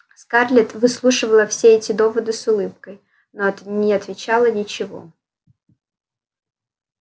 скарлетт выслушивала все эти доводы с улыбкой но не отвечала ничего